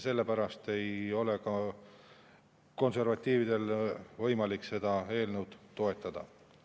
Sellepärast ei ole ka konservatiividel võimalik seda eelnõu toetada.